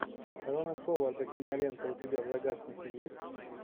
рона ховарда кинолента у тебя в загашнике есть